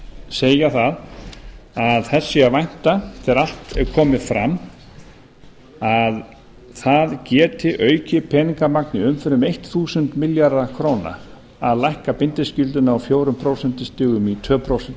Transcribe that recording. segja það að þess sé að vænta þegar allt er komið fram að það geti aukið peningamagn í umferð um þúsund milljarða króna að lækka bindiskylduna úr fjórum prósentum í tvö prósent